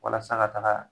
Walasa ka taga